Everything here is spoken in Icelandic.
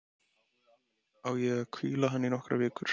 Á ég að hvíla hann í nokkrar vikur?